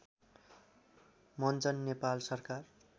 मञ्चन नेपाल सरकार